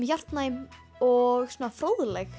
hjartnæm og svona fróðleg